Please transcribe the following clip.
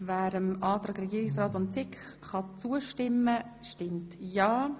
Wer dem Antrag Regierungsrat und SiK-Mehrheit zustimmen kann, stimmt ja,